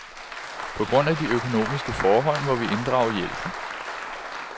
På grund af de økonomiske forhold, må vi inddrage hjælpen.